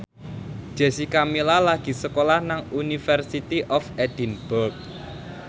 Jessica Milla lagi sekolah nang University of Edinburgh